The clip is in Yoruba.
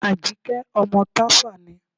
Àjíkẹ́ ọmọ Tàfá ni.